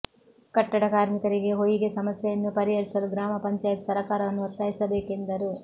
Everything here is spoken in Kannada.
ಕಟ್ಟಡ ಕಾರ್ಮಿಕರಿಗೆ ಹೊಯಿಗೆ ಸಮಸ್ಯೆಯನ್ನು ಪರಿಹರಿಸಲು ಗ್ರಾಮ ಪಂಚಾಯತ್ ಸರಕಾರವನ್ನು ಒತ್ತಾಯಿಸಬೇಕೆಂದರು